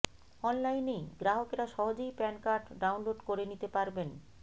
অনলাইনেই গ্রাহকেরা সহজেই প্যান কার্ড ডাউনলোড করে নিতে পারবেন